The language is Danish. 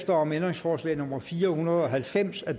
om ændringsforslag nummer fire hundrede og halvfems af